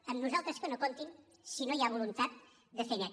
amb nosaltres que no hi comptin si no hi ha voluntat de fer net